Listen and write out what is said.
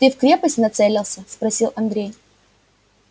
ты в крепость нацелился спросил андрей